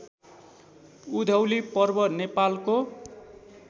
उधौली पर्व नेपालको